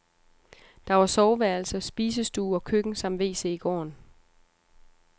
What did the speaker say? Der var soveværelse, spisestue og køkken samt wc i gården.